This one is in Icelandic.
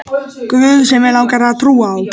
guð sem mig langar að trúa á.